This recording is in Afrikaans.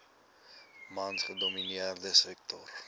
mans gedomineerde sektor